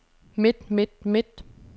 midt midt midt